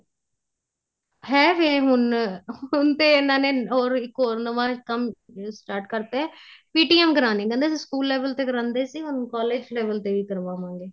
ਹੈਗੇ ਹੁਣ ਹੁਣ ਤੇ ਇੰਨਾ ਨੇ ਹੋਰ ਇੱਕ ਹੋਰ ਨਵਾ ਕੰਮ start ਕਰਤਾ ਏ PTM ਕਰਾਣੀ ਕਹਿੰਦੇ ਅਸੀਂ school level ਤੇ ਕਰਾਂਦੇ ਸੀ ਹੁਣ college level ਤੇ ਵੀ ਕਰਾਵਾਵਾਗੇ